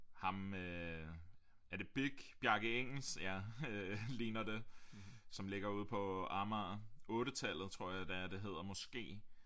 Ham øh er det BIG Bjarke Ingels ja øh ligner det som ligger ude på Amager 8-tallet tror jeg det er det hedder måske